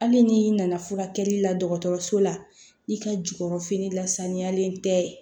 Hali ni i nana furakɛli la dɔgɔtɔrɔso la i ka jukɔrɔfini lasaniyalen tɛ